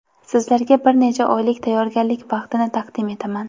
Sizlarga bir necha oylik tayyorgarlik vaqtini taqdim etaman.